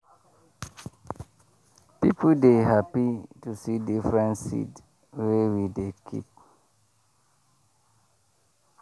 people dey happy to see different seed wey we dey keep.